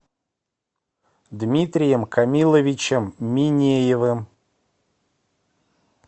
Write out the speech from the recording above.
дмитрием камиловичем минеевым